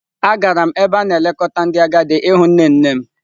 Agara m n'ebe a na-elekọta ndị agadi ịhụ nne nne m.